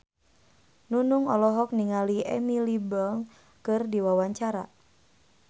Nunung olohok ningali Emily Blunt keur diwawancara